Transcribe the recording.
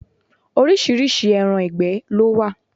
Oríṣiríṣi ẹran ìgbẹ́ ló wà.